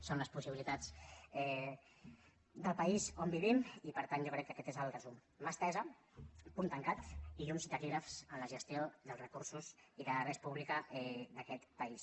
són les possibilitats del país on vivim i per tant jo crec que aquest és el resum mà estesa puny tancat i llums i taquígrafs en la gestió dels recursos i de la res publica d’aquest país